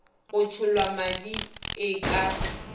go tšhollwa madi e ka